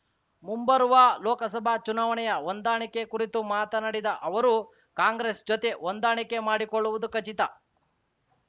ಮುಂಬರುವ ಲೋಕಸಭಾ ಚುನಾವಣೆಯ ಹೊಂದಾಣಿಕೆ ಕುರಿತು ಮಾತನಾಡಿದ ಅವರು ಕಾಂಗ್ರೆಸ್‌ ಜೊತೆ ಹೊಂದಾಣಿಕೆ ಮಾಡಿಕೊಳ್ಳುವುದು ಖಚಿತ